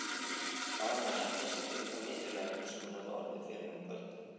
Var hún að hefna sín fyrir þá niðurlægingu sem hún hafði orðið fyrir um kvöldið?